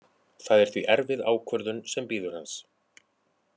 Það er því erfið ákvörðun sem bíður hans.